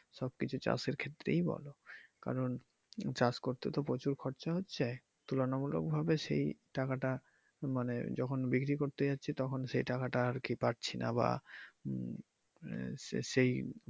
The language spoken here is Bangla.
সব কিছু চাষের ক্ষেত্রেই বলো কারণ চাষ করতে তো প্রচুর খরচা হচ্ছে তুলনামূলক ভাবে সেই টাকা টা মানে যখন বিক্রি করতে যাচ্ছি তখন সেই টাকাটা আরকি পাচ্ছি না বা উম সেই